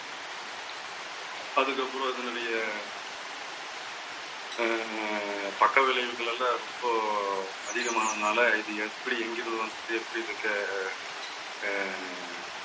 அதுக்கப்புறம் அதனுடைய அஹ் பக்க விளைவுகள் எல்லாம் ரொம்ப அதிகமானதுனால இது எப்படி எங்கிருந்து வந்துச்சு? எப்படி இருக்க அஹ்